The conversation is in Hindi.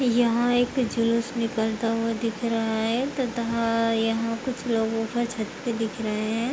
यहां एक जुलूस निकलता हुआ दिख रहा है तथा यहाँ पर कुछ लोगों का छत पर भी दिख रहे हैं।